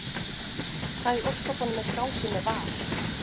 Hvað í ósköpunum er í gangi með VAR?